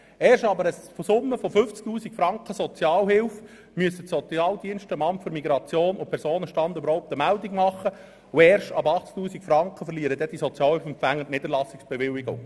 Erst ab einer Summe von 50 000 Franken Sozialhilfe müssen die Sozialdienste dem Amt für Migration und Personenstand (MIP) überhaupt eine Meldung machen, und erst ab 80 000 Franken verlieren die Sozialhilfeempfänger die Niederlassungsbewilligung.